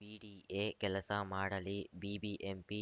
BDA ಕೆಲಸ ಮಾಡಲಿ BBMP